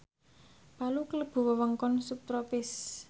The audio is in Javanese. Palu klebu wewengkon subtropis